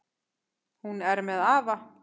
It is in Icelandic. Hún er með afa.